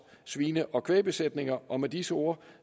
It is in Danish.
svine og kvægbesætninger og med disse ord